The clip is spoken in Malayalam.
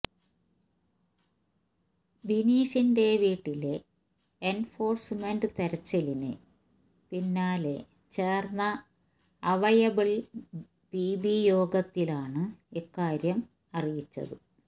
ബിനീഷിന്റെ വീട്ടിലെ എന്ഫോഴ്സ്മെന്റ് തെരച്ചിലിന് പിന്നാലെ ചേര്ന്ന അവയ്ലബിള് പിബിയോഗത്തിലാണ് ഇക്കാര്യം അറിയിച്ചത്